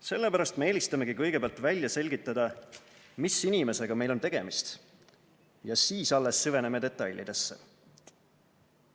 Sellepärast me eelistamegi kõigepealt välja selgitada, mis inimesega meil on tegemist, ja siis alles süveneme detailidesse.